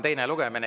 Enda nimel.